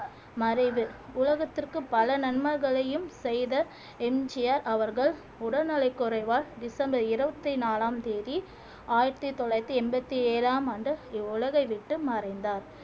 மறைவு உலகத்திற்கு பல நன்மைகளையும் செய்த எம் ஜி ஆர் அவர்கள் உடல்நலை குறைவால் டிசம்பர் இருபத்தி நாலாம் தேதி ஆயிரத்தி தொள்ளாயிரத்தி எண்பத்தி ஏழாம் ஆண்டு இவ்வுலகை விட்டு மறைந்தார்